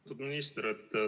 Austatud minister!